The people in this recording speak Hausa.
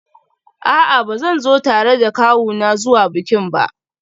A'a, ba zan zo tare da kawuna zuwa bikin ba